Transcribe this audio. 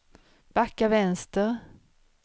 backa vänster